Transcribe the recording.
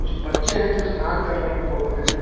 कुछ बच्चे हैं जो स्नान कर रहे हैं पोखरे में।